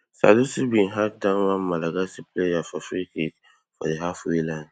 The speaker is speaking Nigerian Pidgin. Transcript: salisu bin hack down one malagasy player for freekick for di halfway line